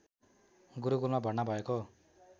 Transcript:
गुरुकुलमा भर्ना भएको